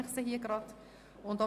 Deshalb teile ich Ihnen diese mit.